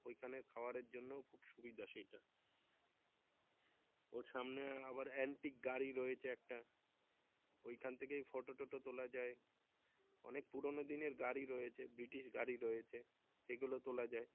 ওইখানের খাওয়ারের জন্য খুব সুবিধা সেই টা ওর সামনে আবার Antique গাড়ি রয়েছে একটা ওইখান থেকেই photo টটো তোলা যায় অনেক পুরানো দিনের গাড়ী রয়েছে বৃটিশ গাড়ি রয়েছে এগুলো তোলা যায়